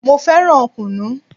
Mo fẹ́ràn kunu